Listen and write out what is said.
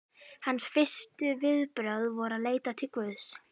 Hans fyrstu viðbrögð voru að leita til Guðs.